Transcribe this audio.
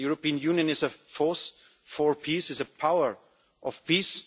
about. The European Union is a force for peace, is a power of